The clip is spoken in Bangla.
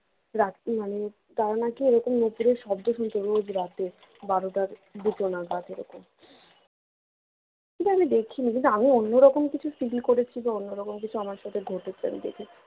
রাতে মানে তারা নাকি এরকম নুপুরের শব্দ শুনতে পেতো রোজ রাতে বারোটা দুটো নাগাদ এরকম কিন্তু আমি দেখিনি আমি অন্যরকম কিছু feel করেছি বা অন্যরকম কিছু আমার সাথে ঘটেছে আমি দেখেছি